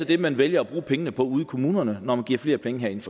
det man vælger at bruge pengene på ude i kommunerne når vi giver flere penge herinde